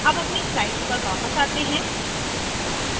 अब अपनी slide पर वापस आते हैं